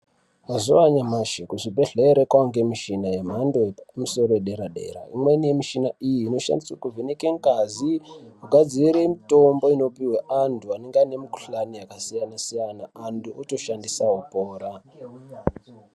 Ma, uwa anyamashi kuzvibhedhlere kwaange mishina yemhando yepamusoro yedera-dera. Imweni yemishina iyi inoshandiswe kuvheneke ngazi, kugadzire mitombo inopihwe antu anenge ane mikhuhlani yakasiyana-siyana, antu otoshandisa, opora.